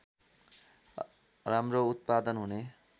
राम्रो उत्पादन हुने